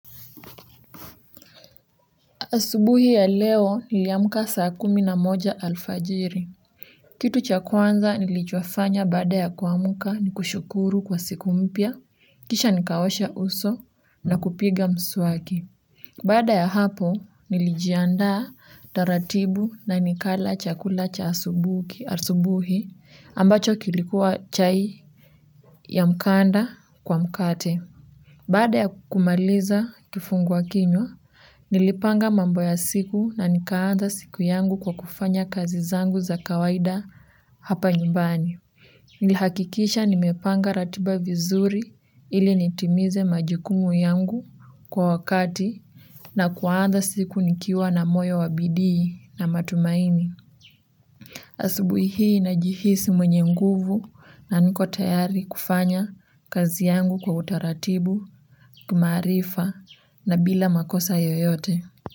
Asubuhi ya leo niliamuka saa kumi na moja alfajiri. Kitu cha kwanza nilichofanya baada ya kuamka ni kushukuru kwa siku mpya, kisha nikaosha uso na kupiga mswaki. Baada ya hapo nilijiandaa taratibu na nikala chakula cha asubuhi ambacho kilikuwa chai ya mkandaa kwa mkate. Baada ya kumaliza kifunguwa kinywa, nilipanga mambo ya siku na nikaanza siku yangu kwa kufanya kazi zangu za kawaida hapa nyumbani. Nilihakikisha nimepanga ratiba vizuri ili nitimize majukumu yangu kwa wakati na kuanza siku nikiwa na moyo wa bidii na matumaini. Asubuhi hii najihisi mwenye nguvu na niko tayari kufanya kazi yangu kwa utaratibu, kimaarifa na bila makosa yoyote.